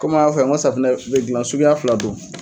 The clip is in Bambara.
kɔmi n y'a fo a ye an ga sfinɛ be gilan suguya fila don